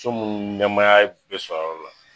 So munnu ni nɛmaya bɛ sɔrɔ a yɔrɔ la